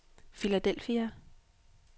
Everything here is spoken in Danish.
Philadelphia